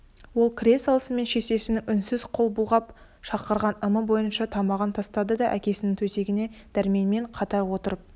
ол кіре салысымен шешесінің үнсіз қол бұлғап шақырған ымы бойынша тымағын тастады да әкесінің төсегіне дәрменмен қатар отырып